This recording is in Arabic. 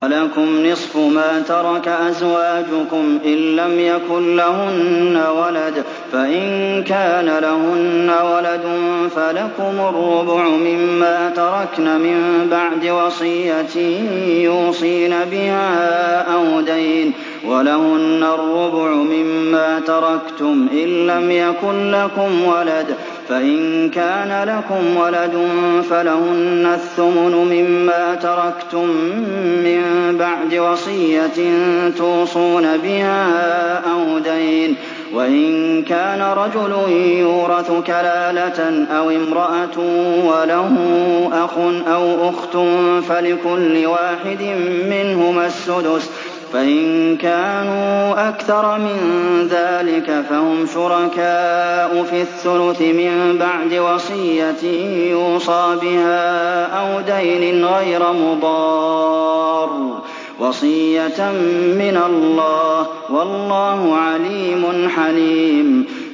۞ وَلَكُمْ نِصْفُ مَا تَرَكَ أَزْوَاجُكُمْ إِن لَّمْ يَكُن لَّهُنَّ وَلَدٌ ۚ فَإِن كَانَ لَهُنَّ وَلَدٌ فَلَكُمُ الرُّبُعُ مِمَّا تَرَكْنَ ۚ مِن بَعْدِ وَصِيَّةٍ يُوصِينَ بِهَا أَوْ دَيْنٍ ۚ وَلَهُنَّ الرُّبُعُ مِمَّا تَرَكْتُمْ إِن لَّمْ يَكُن لَّكُمْ وَلَدٌ ۚ فَإِن كَانَ لَكُمْ وَلَدٌ فَلَهُنَّ الثُّمُنُ مِمَّا تَرَكْتُم ۚ مِّن بَعْدِ وَصِيَّةٍ تُوصُونَ بِهَا أَوْ دَيْنٍ ۗ وَإِن كَانَ رَجُلٌ يُورَثُ كَلَالَةً أَوِ امْرَأَةٌ وَلَهُ أَخٌ أَوْ أُخْتٌ فَلِكُلِّ وَاحِدٍ مِّنْهُمَا السُّدُسُ ۚ فَإِن كَانُوا أَكْثَرَ مِن ذَٰلِكَ فَهُمْ شُرَكَاءُ فِي الثُّلُثِ ۚ مِن بَعْدِ وَصِيَّةٍ يُوصَىٰ بِهَا أَوْ دَيْنٍ غَيْرَ مُضَارٍّ ۚ وَصِيَّةً مِّنَ اللَّهِ ۗ وَاللَّهُ عَلِيمٌ حَلِيمٌ